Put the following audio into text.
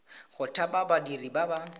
go thapa badiri ba ba